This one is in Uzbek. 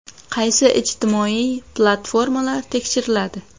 Qaysi ijtimoiy platformalar tekshiriladi?